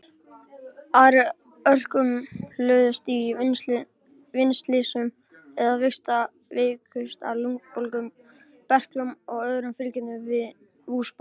Aðrir örkumluðust í vinnuslysum eða veiktust af lungnabólgu, berklum og öðrum fylgikvillum vosbúðar.